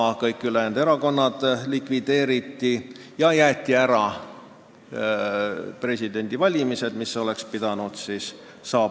Ka kõik ülejäänud erakonnad likvideeriti ja jäeti ära presidendivalimised, mis oleks pidanud siis toimuma.